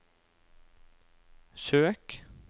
søk